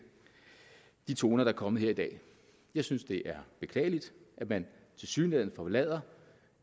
de toner der er kommet her i dag jeg synes det er beklageligt at man tilsyneladende forlader